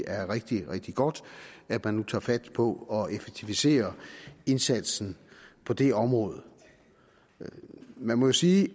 er rigtig rigtig godt at man nu tager fat på at effektivisere indsatsen på det område man må jo sige